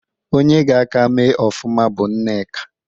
Onye ga-a ka mee ọfụma bụ Nneka.